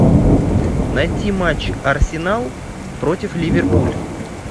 найти матч арсенал против ливерпуль